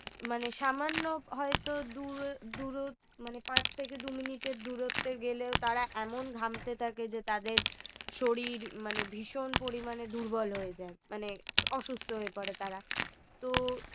মানে সামান্য হয়তো দূরে~ দূর মানে পাঁচ থেকে দুই minute এর দূরত্বে গেলেও তারা এমন ঘামতে থাকে যে তাদের শরীর মানে ভীষণ পরিমাণে দুর্বল হয়ে যায় মানে অসুস্থ হয়ে পরে তারা তো